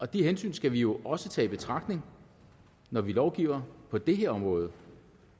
det hensyn skal vi jo også tage i betragtning når vi lovgiver på det her område